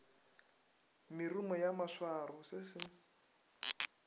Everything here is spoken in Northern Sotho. merumo ya maswaro se se